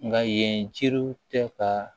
Nka yen jiriw tɛ ka